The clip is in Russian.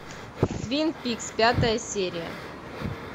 твин пикс пятая серия